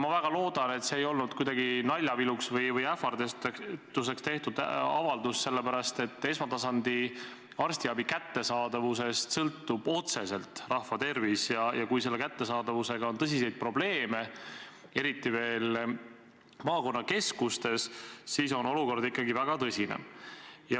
Ma väga loodan, et see ei olnud kuidagi naljaviluks või ähvarduseks tehtud avaldus, sellepärast et esmatasandi arstiabi kättesaadavusest sõltub otseselt rahva tervis, ja kui selle kättesaadavusega on tõsiseid probleeme, eriti veel maakonnakeskustes, siis on olukord ikkagi väga tõsine.